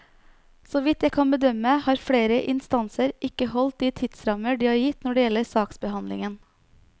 Så vidt jeg kan bedømme, har flere instanser ikke holdt de tidsrammer de har gitt når det gjelder saksbehandlingen.